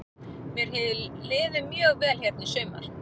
Mér hefur liðið mjög vel hérna í sumar.